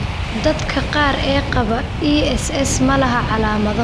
Dadka qaar ee qaba ESS ma laha calaamado.